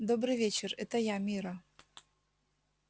добрый вечер это я мирра